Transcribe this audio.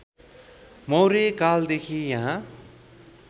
मौर्य कालदेखि यहाँ